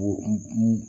O